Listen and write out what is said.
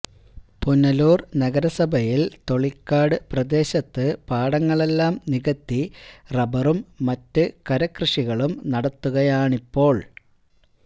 പുനലൂര് നഗരസഭയില് തൊളിക്കോട് പ്രദേശത്ത് പാടങ്ങളെല്ലാം നികത്തി റബറും മറ്റ് കരക്കൃഷികളും നടത്തുകയാണിപ്പോള്